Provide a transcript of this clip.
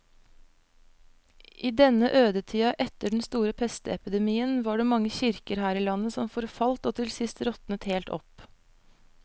I denne ødetida etter den store pestepidemien var det mange kirker her i landet som forfalt og til sist råtnet helt opp.